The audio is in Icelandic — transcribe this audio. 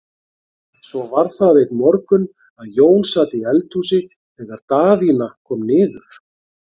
Svo var það einn morgun að Jón sat í eldhúsi þegar Daðína kom niður.